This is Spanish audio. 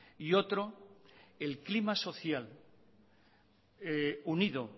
y otro el clima social unido